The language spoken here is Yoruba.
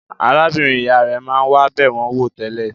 Arábìnrin-ìyá rẹ̀ máa ń wá bẹ̀ wọ́n wò tẹ́lẹ̀.